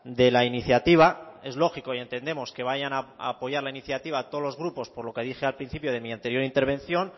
de la iniciativa es lógico y entendemos que vayan a apoyar la iniciativa todos los grupos por lo que dije al principio de mi anterior intervención